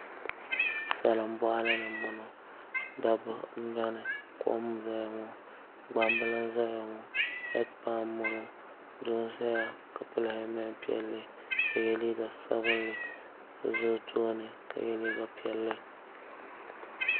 Salin boɣali ni n boŋo dabba n bɛ ni gbambili n ʒɛya ŋo kom n ʒɛya ŋo heed pai nima n ʒɛya ka pili hɛlmɛnti piɛlli ka yɛ liiga sabinli so ʒɛ o tooni ka yɛ liiga piɛlli